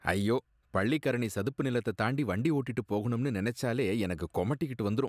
ஐயோ! பள்ளிக்கரணை சதுப்பு நிலத்தத் தாண்டி வண்டி ஓட்டிட்டு போகணும்னு நெனச்சாலே எனக்கு கொமட்டிகிட்டு வந்துரும்.